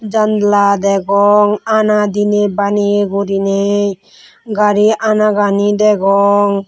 janla degong ana deni baniye gurine gari anagani degong.